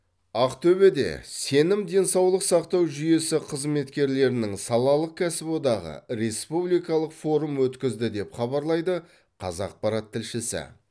ақтөбеде сенім денсаулық сақтау жүйесі қызметкерлерінің салалық кәсіподағы республикалық форум өткізді деп хабарлайды қазақпарат тілшісі